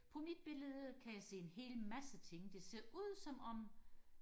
på mit billede kan jeg se en hel masse ting det ser ud som om